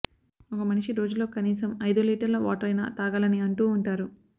ఒక మనిషి రోజులో కనీసం అయిదు లీటర్ల వాటర్ అయినా తాగాలని అంటూ ఉంటారు